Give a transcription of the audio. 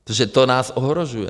Protože to nás ohrožuje.